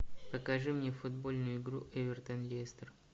покажи мне футбольную игру эвертон лестер